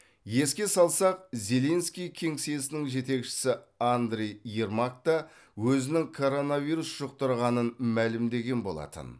еске салсақ зеленский кеңсесінің жетекшісі андрий ермак та өзінің коронавирус жұқтырғанын мәлімдеген болатын